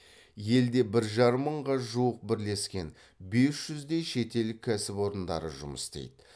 елде бір жарым мыңға жуық бірлескен бес жүздей шетел кәсіпорындары жұмыс істейді